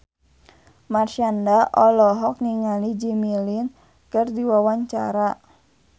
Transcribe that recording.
Marshanda olohok ningali Jimmy Lin keur diwawancara